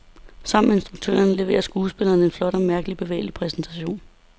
Sammen med instruktøren leverer skuespillerne en flot og mærkeligt bevægende præstation.